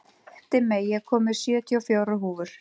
Dimmey, ég kom með sjötíu og fjórar húfur!